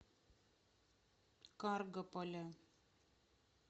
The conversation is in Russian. каргополя